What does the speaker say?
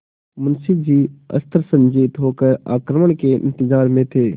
मुंशी जी अस्त्रसज्जित होकर आक्रमण के इंतजार में थे